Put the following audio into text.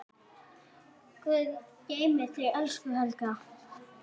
Guð geymi þig, elsku Helga.